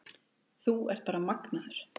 Þú ert bara magnaður.